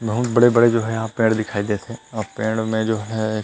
बहुत बड़े-बड़े जो है यहाँ पेड़ दिखाई देत हे अऊ पेड़ में जो है।